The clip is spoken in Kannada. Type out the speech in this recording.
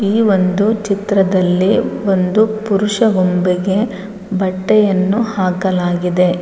ಈ ಒಂದು ಚಿತ್ರದಲ್ಲಿ ಒಂದು ಪುರುಷ ಬೊಂಬೆಗೆ ಬಟ್ಟೆಯನ್ನು ಹಾಕಲಾಗಿದೆ.